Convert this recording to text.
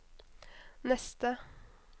neste